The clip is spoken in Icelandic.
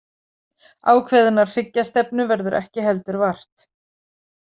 Ákveðinnar hryggjastefnu verður ekki heldur vart.